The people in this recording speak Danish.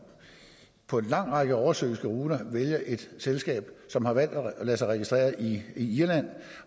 på en lang række oversøiske ruter vælger et selskab som har valgt at lade sig registrere i irland